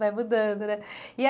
Vai mudando, né? E a